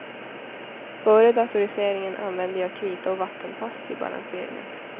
Före datoriseringen använde jag krita och vattenpass till balanseringen.